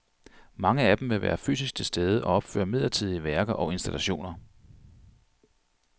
Mange af dem vil være fysisk til stede og opføre midlertidige værker og installationer.